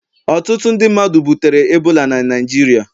Ọtụtụ ndị mmadu butere ebola na Naịjirịa